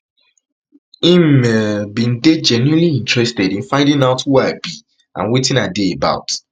im um bin dey genuinely interested in finding out who i be and wetin i dey about